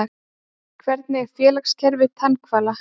Hvernig er félagskerfi tannhvala?